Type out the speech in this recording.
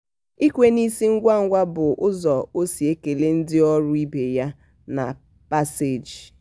ikwe n'isi ngwa ngwa bụ ụzọ ọ si ekele ndị ọrụ ibe ya na paseeji.